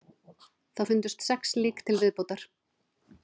Þar fundust sex lík til viðbótar